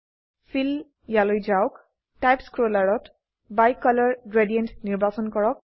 feel ইয়ালৈ যাওক type স্ক্ৰোলাৰতBicolor গ্ৰেডিয়েণ্ট নিৰ্বাচন কৰক